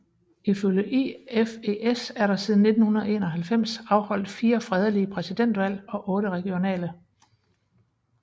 Ifølge IFES er der siden 1991 afholdt 4 fredelige præsidentvalg og 8 regionale